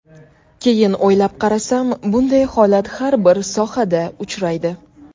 Keyin o‘ylab qarasam, bunday holat har bir sohada uchraydi.